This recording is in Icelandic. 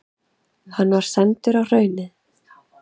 Hann var sendur á Hraunið.